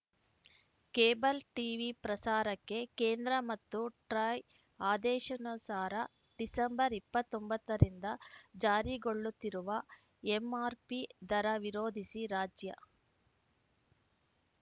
cable TV ಪ್ರಸಾರಕ್ಕೆ ಕೇಂದ್ರ ಮತ್ತು ಟ್ರಾಯ್‌ ಆದೇಶಾನುಸಾರ ಡಿಸೆಂಬರ್ ಇಪ್ಪತ್ತ್ ಒಂಬತ್ತ ರಿಂದ ಜಾರಿಗೊಳ್ಳುತ್ತಿರುವ ಎಂಆರ್‌ಪಿ ದರ ವಿರೋಧಿಸಿ ರಾಜ್ಯ